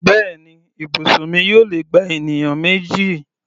Bẹ́ẹ̀ni, ibùsùn mi yóò lè gba ènìyàn méjì.